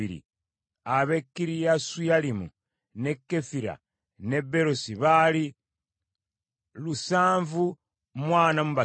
ab’e Kiriyasuyalimu, n’e Kefira n’e Beerosi baali lusanvu mu ana mu basatu (743),